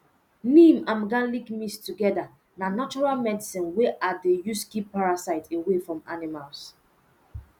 neem and garlic mixed togeda na natural medicine wey i dey use keep parasite away from animals